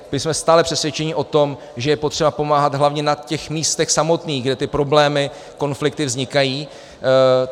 My jsme stále přesvědčeni o tom, že je potřeba pomáhat hlavně na těch místech samotných, kde ty problémy, konflikty vznikají.